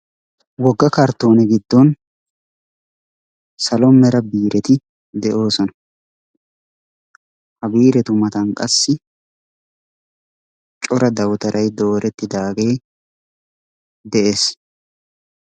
Wogga kartoone giddon salo mera biireti de'ossona. Ha biiretu matan qassi cora dawutaray doorettidaaagee de; ees.